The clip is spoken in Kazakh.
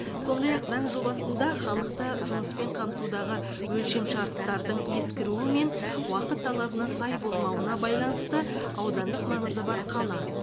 сондай ақ заң жобасында халықты жұмыспен қамтудағы өлшемшарттардың ескіруі мен уақыт талабына сай болмауына байланысты аудандық маңызы бар қала